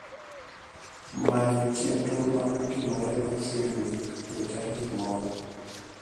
manyo chenro manotimore machiegni e tarik moro